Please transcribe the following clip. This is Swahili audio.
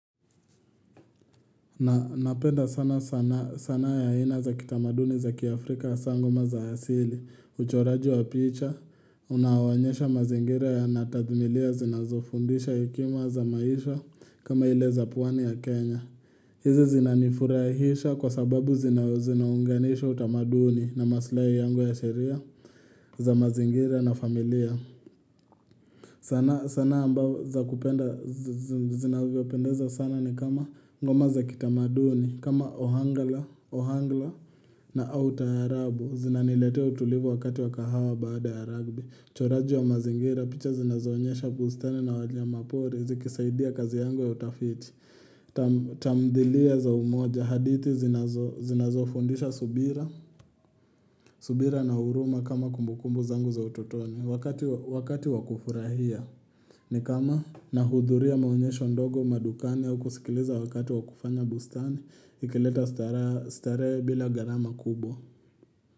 Na napenda sana sana sanaa ya aina za kitamaduni za kiafrika hasa ngoma za asili uchoraji wa picha unaoonyesha mazingira yana tathmilia zinazofundisha hekima za maisha kama ile za pwani ya Kenya. Hizi zinanifurahisha kwa sababu zinaunganisha utamaduni na maslai yangu ya sheria za mazingira na familia. Sanaa ambao za kupenda, zinavyopendeza sana ni kama ngoma za kitamaduni, kama ohangla na au taarabu. Zinaniletea utulivu wakati wa kahawa baada ya rugby. Uchoraji wa mazingira, picha zinazoonyesha bustani na wanyama pori, zikisaidia kazi yangu ya utafiti. Tamdhilia za umoja hadithi zinazofundisha subira. Subira na huruma kama kumbukumbu zangu za utotoni Wakati wa kufurahia ni kama nahudhuria maonyesho ndogo madukani au kusikiliza wakati wa kufanya bustani ikileta starehe bila gharama kubwa.